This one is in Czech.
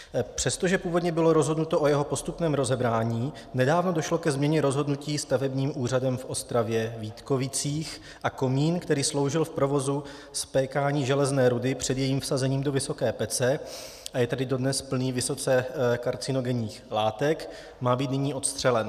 Přestože původně bylo rozhodnuto o jeho postupném rozebrání, nedávno došlo ke změně rozhodnutí stavebním úřadem v Ostravě-Vítkovicích a komín, který sloužil v provozu spékání železné rudy před jejím vsazením do vysoké pece, a je tedy dodnes plný vysoce karcinogenních látek, má být nyní odstřelen.